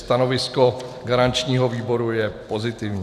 Stanovisko garančního výboru je pozitivní.